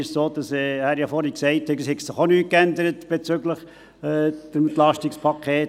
: Er hat vorhin gesagt, es habe sich bezüglich des EP dieses Mal auch nichts geändert.